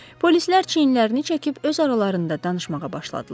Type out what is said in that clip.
Polislər çiyinlərini çəkib öz aralarında danışmağa başladılar.